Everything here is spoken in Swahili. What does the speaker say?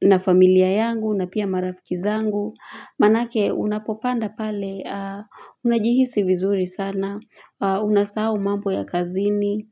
na familia yangu na pia marafiki zangu Manake unapopanda pale Unajihisi vizuri sana Unasahau mambo ya kazini